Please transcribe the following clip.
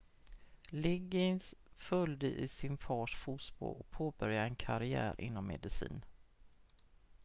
liggins följde i sin fars fotspår och påbörjade en karriär inom medicin